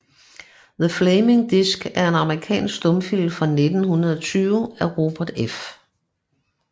The Flaming Disc er en amerikansk stumfilm fra 1920 af Robert F